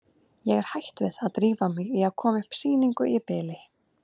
Ég er hætt við að drífa mig í að koma upp sýningu í bili.